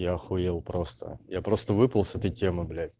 я ахуел просто я просто выпал с этой темы блять